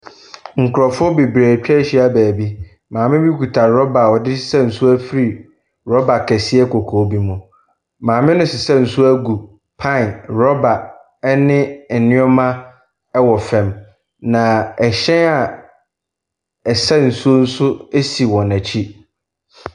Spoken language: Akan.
Nkorɔfoɔ bebree atwa ahyia beebi. Maame bi kuta rɔba a ɔde resa nsuo ɛfiri rɔba kɛseɛ kɔkɔɔ bi mu. Maame no resesa nsuo agu pan, rɔba ɛne nneɛma ɛwɔ fam, na ɛhyɛn ɛsa nsuo nso asi wɔn akyi.